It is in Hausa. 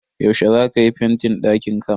Yaushe za ka yi fentin dakinka?